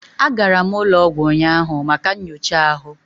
Agara m ụlọ ọgwụ ụnyahụ maka nyocha ahụ